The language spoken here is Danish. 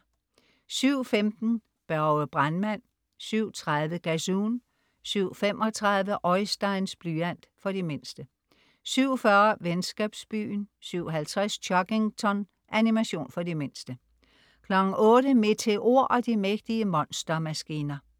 07.15 Børge brandmand 07.30 Gazoon 07.35 Oisteins blyant. For de mindste 07.40 Venskabsbyen 07.50 Chuggington. Animation for de mindste 08.00 Meteor og de mægtige monstermaskiner